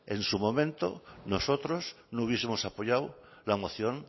en su momento nosotros no hubiesemos apoyado la moción